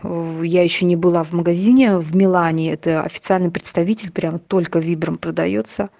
я ещё не была в магазине в милане это официальный представитель прям только вибрум продаётся